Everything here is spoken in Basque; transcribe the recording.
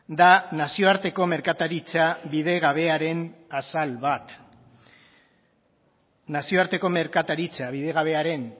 da nazioarteko merkataritza bidegabearen azal bat nazioarteko merkataritza bidegabearen